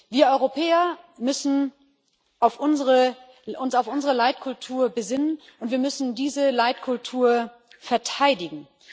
Wir Europäer müssen uns auf unsere Leitkultur besinnen, und wir müssen diese Leitkultur verteidigen.